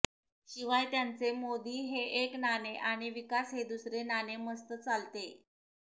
शिवाय त्यांचे मोदी हे एक नाणे आणि विकास हे दुसरे नाणे मस्त चालतेय